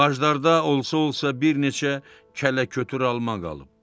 Ağaclarda olsa-olsa bir neçə kələkötür alma qalıb.